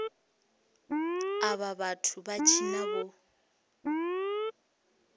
avha vhathu vha tshina vho